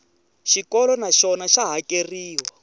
xikolo na xona xa hakeriwa